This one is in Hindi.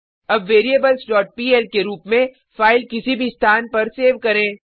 अब variablesपीएल के रुप में फाइल किसी भी स्थान पर सेव करें